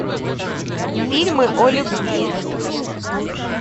фильмы о любви